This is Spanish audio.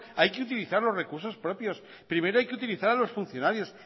hay que utilizar los recursos propios primero hay que utilizar a los funcionarios